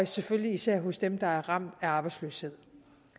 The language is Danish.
selvfølgelig især hos dem der er ramt af arbejdsløshed